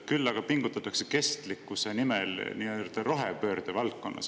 Küll aga pingutatakse kestlikkuse nimel nii-öelda rohepöörde valdkonnas.